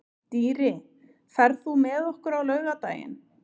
Dýri, ferð þú með okkur á laugardaginn?